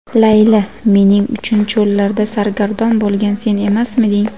Layli: "Mening uchun cho‘llarda sargardon bo‘lgan sen emasmiding?"